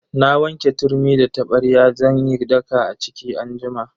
Na wanke turmi da tabarya zan yi daka a ciki anjima.